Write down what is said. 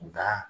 Nka